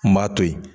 N b'a to yen